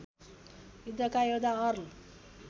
युद्धका योद्धा अर्ल